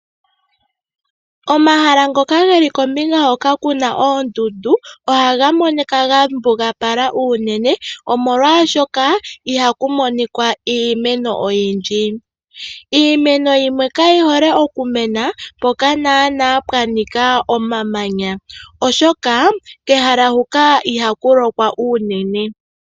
Omahala ngoka geli kombinga hoka kuna oondundu ohaga monika ga mbugapala unene molwaashoka ihaku monika iimeno oyindji. Iimeno yimwe kayihole okumena mpoka nana pwanika omamanya oshoka kehala hoka ihaku lokwa unene .